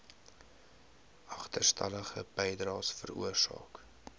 agterstallige bydraes veroorsaak